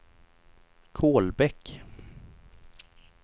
Kolbäck